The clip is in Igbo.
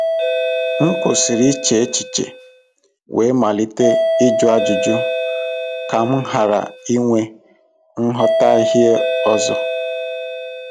M kwụsịrị iche echiche wee malite ịjụ ajụjụ ka m ghara inwe nghọtahie ọzọ.